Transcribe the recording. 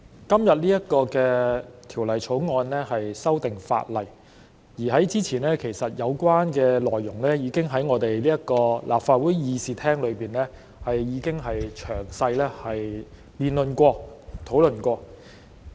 代理主席，今次恢復二讀的《2021年立法會條例草案》的有關內容，早前已於立法會議事廳作詳細辯論和討論。